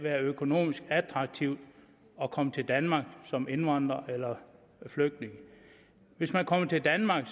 være økonomisk attraktivt at komme til danmark som indvandrer eller flygtning hvis man kommer til danmark